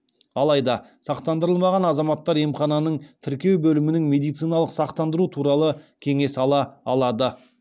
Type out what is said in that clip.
алайда сақтандырылмаған азаматтар емхананың тіркеу бөлімінің медициналық сақтандыру туралы кеңес ала алады